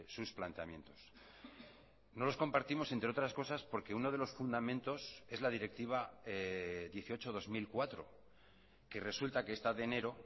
sus planteamientos no los compartimos entre otras cosas porque uno de los fundamentos es la directiva dieciocho barra dos mil cuatro que resulta que esta de enero